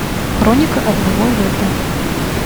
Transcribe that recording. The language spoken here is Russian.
хроника одного лета